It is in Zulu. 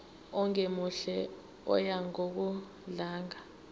ongemuhle oya ngokudlanga